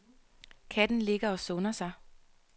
Katten ligger og sunder sig.